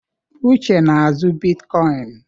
Uche na-azụ bitkoịn.